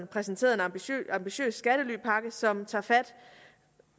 præsenterede en ambitiøs skattelypakke som tager fat